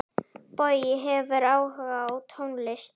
Bogi hefur áhuga á tónlist.